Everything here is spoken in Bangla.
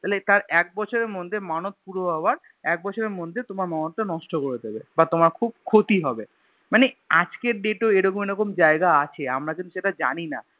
তাহলে তার এক বছরের মধ্যে মানদ পুরো হওয়ার এক বছরের মধ্যে তোমার মানোদ টা নষ্ট করে দিবে বা তোমার খুব ক্ষতি হবে মানে আজকের Date এও এরকম এরকম জায়গা আছে আমরা সেটা জানিনা